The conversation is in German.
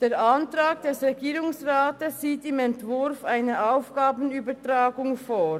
Der Antrag des Regierungsrats sieht im Entwurf eine Aufgabenübertragung vor.